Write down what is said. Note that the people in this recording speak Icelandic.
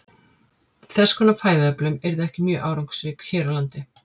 Þess konar fæðuöflun yrði ekki mjög árangursrík hér á landi.